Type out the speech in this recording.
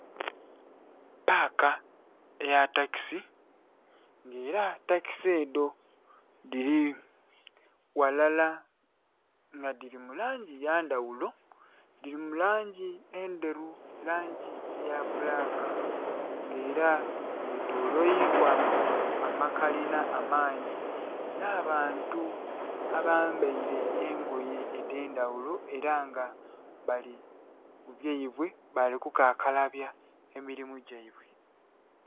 Paka eya takisi nga era takisi edho dhili ghalala nga dhili mu langi ya ndhaghulo dhili mu langi endheru, langi eya bbulaka nga era ye tolweilwa amakalina amangi nha bantu abambaire engoye edhendhaghulo era nga bali byaibwe bali ku kakalabya emilimo gyaibwe.